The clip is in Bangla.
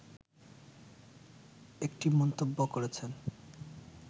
একটি মন্তব্য করেছেন